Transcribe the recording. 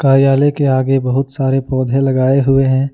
कार्यालय के आगे बहुत सारे पौधे लगाए हुए हैं।